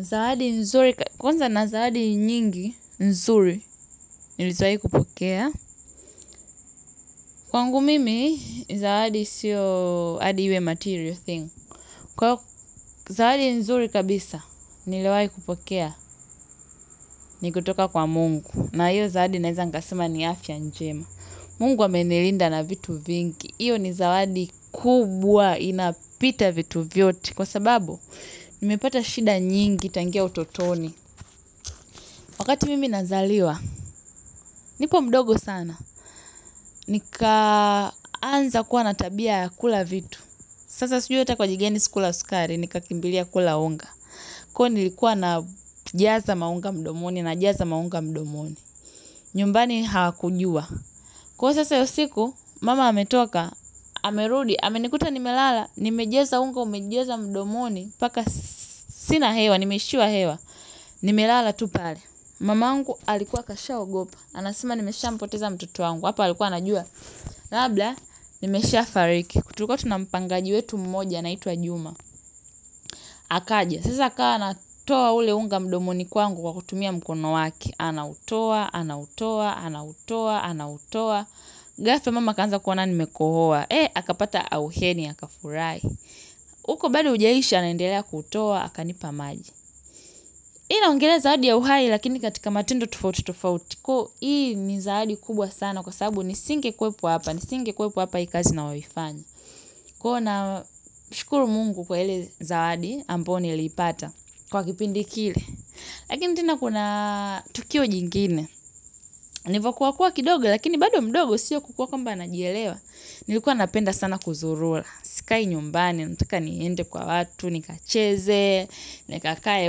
Zawadi nzuri, kwanza na zawadi nyingi, nzuri, nilizoai kupokea. Kwangu mimi, zawadi siyo adi iwe material thing. Kwa zawadi nzuri kabisa nilioai kupokea ni kutoka kwa mungu na hiyo zawadi naeza nikasema ni afya njema Mungu amenilinda na vitu vingi. Iyo ni zawadi kubwa, inapita vitu vyote. Kwa sababu, nimepata shida nyingi, tangia utotoni. Wakati mimi nazaliwa, nipo mdogo sana, nikaanza kuwa na tabia ya kula vitu. Sasa sijui ata kwa aji gani sikula sukari, nika kimbilia kula unga. Kwa nilikuwa na jaza maunga mdomoni na jaza maunga mdomoni. Nyumbani hawakujua. Kwaio sasa yosiku, mama ametoka, amerudi, amenikuta nimelala, nimejeza unga, umejaza mdomoni, paka sina hewa, nimeishiwa hewa, nimelala tu pale. Mama angu alikuwa kashao gopa. Anasema nimesha mpoteza mtoto wa ngu. Hapo alikuwa anajua. Labla nimesha fariki. Tulikuwa tuna mpangaji wetu mmoja anaitwa juma. Akaja. Sasa akawa anatoa ule unga mdomoni kwa ngu kwa kutumia mkono wake. Anautoa, anautoa, anautoa, anautoa. Gafla mama akaanza kuona nimekohoa. Eh, akapata auheni, akafurahi. Uko bado hujaisha anaendelea kutoa, akanipa maji. Hii na ongelea zawadi ya uhai lakini katika matendo tofauti tofauti ko hii ni zaadi kubwa sana kwa sababu ni singe kwepo hapa ni singe kwepo hapa hii kazi nayoifanya. Kwaio na shukuru mungu kwa ile zawadi amboyo niliipata kwa kipindi kile. Lakini tena kuna tukio jingine. Nivakuwa kuwa kidogo lakini bado mdogo siyo kukuwa kwamba najielewa. Nilikuwa napenda sana kuzurula. Sikai nyumbani, ntaka niende kwa watu, nikacheze, nikakae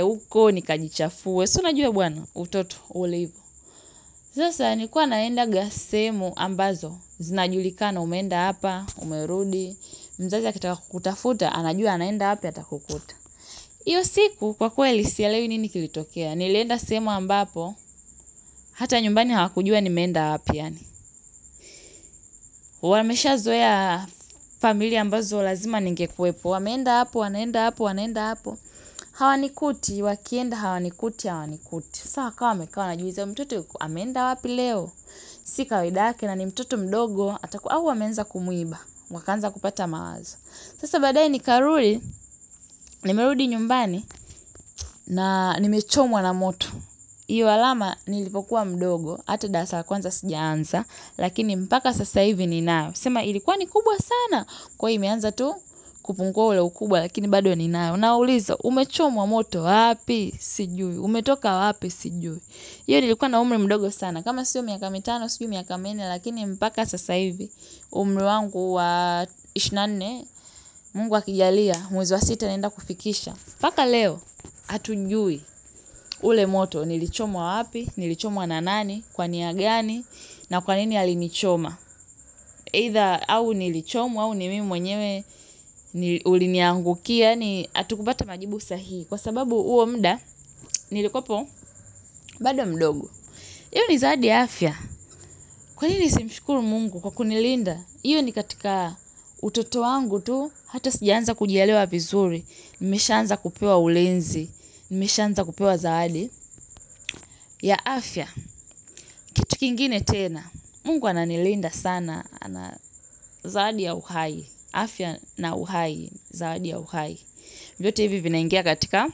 huko, nikajichafue. Si unajue bwana utoto ulivo sasa nilikuwa naendaga sehemu ambazo zinajulikana umenda hapa umerudi mzazi akitaka kutafuta anajua anaenda wapi ata kukuta iyo siku kwa kweli sielewi nini kilitokea nilenda sehemu ambapo hata nyumbani hawakujua ni meenda wapi yaani wameshazoea familia ambazo lazima ningekuwepo wameenda hapo wanaenda hapo wanaenda hapo hawa nikuti, wakienda hawa nikuti, hawa nikuti. Saa wakawa wamekaa wanajiuza mtoto yuko ameenda wapi leo. Sikawaida yake na ni mtoto mdogo. Ata ku au amenza kumuiba wakaanza kupata mawazo. Sasa baadaye ni karuli. Nimerudi nyumbani. Na nimechomwa na moto. Hiyo alama nilipokuwa mdogo hata daasa kwanza sijaansa. Lakini mpaka sasa hivi ni nayo. Sema ilikuwa ni kubwa sana. Kwa hii imeanza tu kupungwa ule ukubwa. Lakini bado ni nayo. Unaulizwa umechomwa moto wapi sijui. Umetoka wapi sijui hIyo nilikuwa na umri mdogo sana. Kama siyo miaka mitano, siyo miaka minne, lakini mpaka sasa hivi, umri wangu wa ish na nne, mungu a kijalia, mwezi wa sita naenda kufikisha. Paka leo, hatujui ule moto, nilichomwa wapi, nilichomwa na nani, kwa niagani, na kwa nini alinichoma. Either au nilichomwa, au nimimi mwenyewe uliniangukia, yaani atukubata majibu sahihi. Kwa sababu uo mda, nilikopo bado mdogo. Iyo ni zawadi ya afya. Kwa nini ni simshukuru mungu kwa kunilinda? Iyo ni katika utoto wangu tu. Hata sijaanza kujielewa vizuri. Nimeshaanza kupewa ulinzi. Nimeshanza kupewa zaadi. Ya afya, kitu kingine tena. Mungu ananilinda sana. Ana zawadi ya uhai. Afya na uhai. Zaadi ya uhai. Vyote hivi vinaingia katika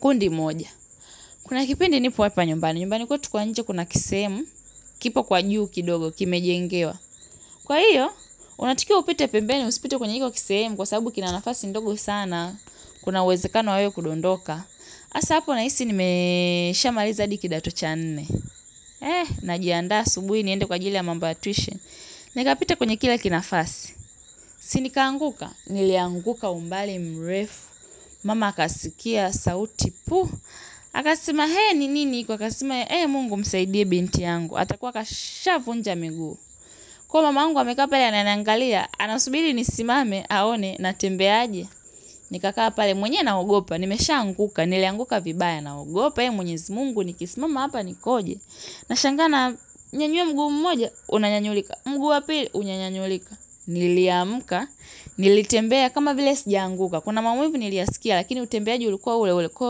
kundi moja. Kuna kipindi nipo hapa nyumbani, nyumbani kwetu kwa nje kuna kisehemu, kipo kwa juu kidogo, kime jengewa kwa hiyo, unatakiwa upite pembeni, usipite kwenye iko kisehemu kwa sababu kinanafasi ndogo sana, kuna uwezekano wa wewe kudondoka hasa hapo na hisi nimesha maliza hadi kidato cha nne, eh, na jianda asubuhi niende kwa ajili ya mambo ya twishen. Nika pita kwenye kila kinafasi, sinika anguka, nilianguka umbali mrefu, mama kasikia sauti pu. Akasima hee ni nini kwa kasima hee mungu msaidiye binti yangu. Atakuwa kashavunja miguu. Kwaiyo mama mungu amekaa pale ananiangalia. Anasubili nisimame aone na tembea aje nika kaa pale mwenyewe naogopa nimeshaanguka nilianguka vibaya naogopa eh mwenyezi mungu nikismama hapa nikoje nashangaa nanyanyua mguu mmoja unanyanyulika mguu wa pili unyanyanyulika niliamka nilitembea kama vile sijaanguka kuna maumivu niliyaskia lakini utembeaji ulikuwa ule ule ko.